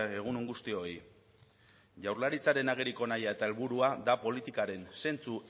egun on guztioi jaurlaritzaren ageriko nahia eta helburua da politikaren zentzu